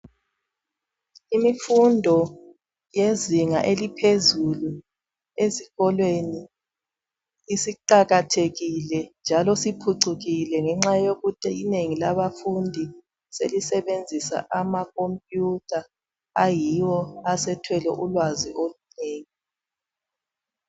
Imfundo yezinga eliphezulu ezikolweni isiqakathekile njalo siphucukile ngenxa yokuthi inengi labafundi selisebenzisa amakompiyuta ayiwo asethwele ulwazi olunengi.